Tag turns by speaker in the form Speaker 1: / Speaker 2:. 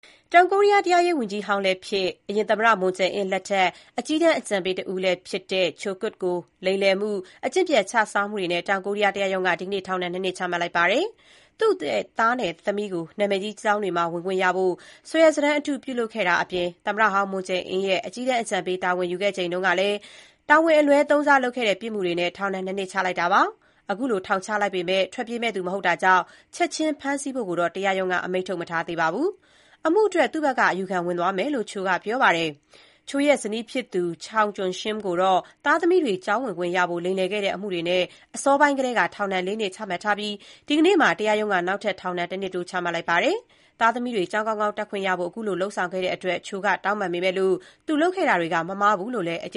Speaker 1: တောင်ကိုရီးယား တရားရေးဝန်ကြီးဟောင်းလည်းဖြစ်၊ အရင်သမ္မတ မွန်ဂျေအင်း (Moon Jae-in) လက်ထက် အကြီးတန်း အကြံပေးတဦးလည်းဖြစ်တဲ့ Cho Kuk ကို လိမ်လည်မှု၊ အကျင့်ပျက်ခြစားမှုတွေနဲ့ တောင်ကိုရီးယားတရားရုံးက ဒီကနေ့ ထောင်ဒဏ် ၂ နှစ်ချမှတ်လိုက်ပါတယ်။ သူ့သားနဲ့ သမီးကို နာမည်ကြီးကျောင်းတွေမှာ ဝင်ခွင့်ရဖို့ စာရွက်စာတမ်းအတု ပြုလုပ်ခဲ့တာအပြင် သမ္မတဟောင်းမွန်ဂျေအင်းရဲ့ အကြီးတန်းအကြံပေး တာဝန်ယူခဲ့ချိန်ကလည်း တာဝန်အလွဲ သုံးစားလုပ်ခဲ့တဲ့ ပြစ်မှုတွေနဲ့ ထောင်ဒဏ် ၂ နှစ်ချလိုက်တာပါ။ ခုလို ထောင်ချလိုက်ပေမဲ့ ထွက်ပြေးမယ့်သူ မဟုတ်တာကြောင့် ချက်ချင်း ဖမ်းဆီးဖို့တော့ တရားရုံးက အမိန့် မထုတ်ထားပါဘူး။ အမှုအတွက် သူ့ဘက်က အယူခံ ဝင်သွားမယ်လို့ Cho က ပြောပါတယ်။ Cho ရဲ့ ဇနီးဖြစ်သူ Chung Kyung-shim ကိုတော့ သားသမီးတွေ ကျောင်းဝင်ခွင့် ရဖို့ လိမ်လည်ခဲ့တဲ့ အမှုတွေနဲ့ အစောပိုင်းကတည်းက ထောင်ဒဏ် ၄ နှစ် ချမှတ်ထားပြီး ဒီကနေ့မှာ တရားရုံးက နောက်ထပ် ထောင်ဒဏ် တနှစ်တိုး ချမှတ်လိုက်ပါတယ်။ သားသမီးတွေ ကျောင်းကောင်းကောင်း တက်ခွင့်ရဖို့ ခုလို လုပ်ဆောင်ခဲ့တဲ့အတွက် Cho က တောင်းပန် ပေမဲ့၊ သူလုပ်ခဲ့တာတွေက မမှားဘူးလို့ပဲ အကြ